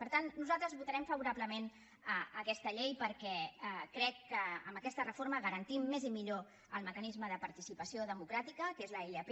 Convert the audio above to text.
per tant nosaltres votarem favorablement aquesta llei perquè crec que amb aquesta reforma garantim més i millor el mecanisme de participació democràtica que és la ilp